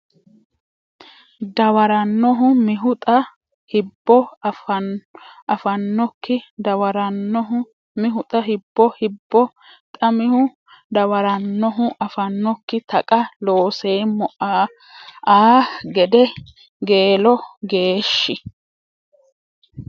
dawarannohu mihu xa Hibbo afannokki dawarannohu mihu xa Hibbo Hibbo xa mihu dawarannohu afannokki Taqa Looseemmo a gede Geelo geeshshi !